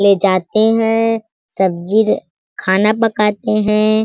ले जाते हैं सब्जी खाना पकाते हैं।